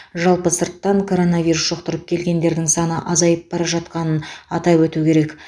жалпы сырттан коронавирус жұқтырып келгендердің саны азайып бара жатқанын атап өту керек